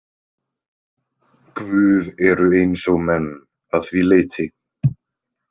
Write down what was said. Guð eru eins og menn að því leyti.